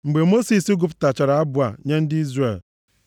Mgbe Mosis gụpụtachara abụ a nye ndị Izrel,